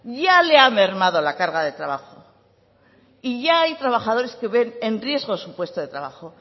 ya le ha mermado la carga de trabajo ya hay trabajadores que ven en riesgo su puesto de trabajo